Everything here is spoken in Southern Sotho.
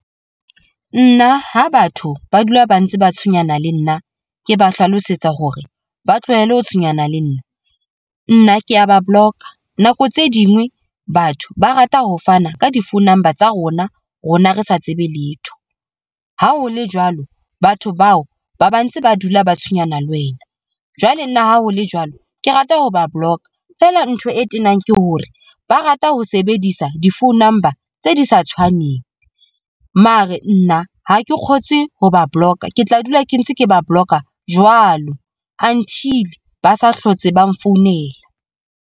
Nna ha batho ba dula ba ntse ba tshwenyana le nna, ke ba hlalosetsa hore ba tlohele ho tshwenyana le nna, nna kea ba block-a. Nako tse dingwe batho ba rata ho fana ka di-phone number tsa rona rona re sa tsebe letho. Ha ho le jwalo, batho bao ba ba ntse ba dula ba tshwenyana le wena. Jwale nna ha ho le jwalo, ke rata ho ba block-a feela. Ntho e tenang ke hore ba rata ho sebedisa di-phone number tse di sa tshwaneng mare nna ha ke kgotse ha ba block-a ke tla dula ke ntse ke ba block-a jwalo until ba sa hlotse ba nfounela.